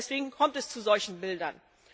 Deswegen kommt es zu solchen Bildern.